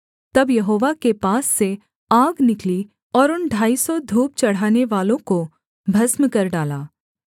तब यहोवा के पास से आग निकली और उन ढाई सौ धूप चढ़ानेवालों को भस्म कर डाला